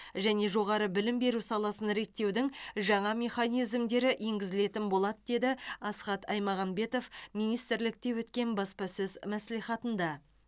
және жоғары білім беру саласын реттеудің жаңа механизмдері енгізілетін болады деді асхат аймағамбетов министрлікте өткен баспасөз мәслихатында